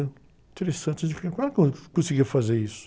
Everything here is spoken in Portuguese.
Interessante, como ela conseguia fazer isso?